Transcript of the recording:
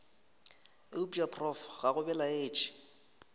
eupša prof ga go belaetše